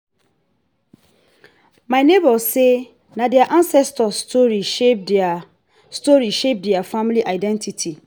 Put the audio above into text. my nebor say na their ancestors stories shape their stories shape their family identity